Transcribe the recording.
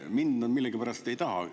Mind nad millegipärast ei taha.